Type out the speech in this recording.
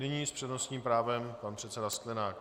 Nyní s přednostním právem pan předseda Sklenák.